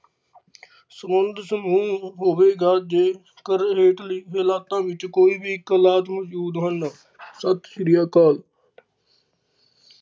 ਸਮੁੰਦਰ ਸਮੂਹ ਓਹ ਹੋਵੇਗਾ ਜਿਸ ਕਰ ਹੋਠ ਲਿਖੇ ਵਲਾਤਾਂ ਵਿੱਚ ਕੋਈ ਵੀ ਕਲਾਥ ਨਾ ਮੌਜੂਦ ਹੋਣ, ਸਤਿ ਸ਼੍ਰੀ ਅਕਾਲ।